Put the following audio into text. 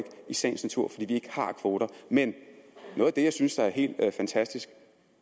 i sagens natur ikke har kvoter men noget af det jeg synes er helt fantastisk